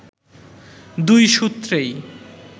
দুই সূত্রেই